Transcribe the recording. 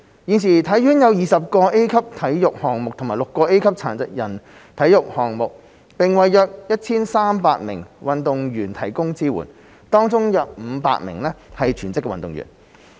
現時體院有20個 A 級體育項目和6個 A 級殘疾人體育項目，並為約 1,300 名運動員提供支援，當中約500名是全職運動員。